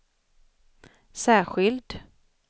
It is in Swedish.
särskild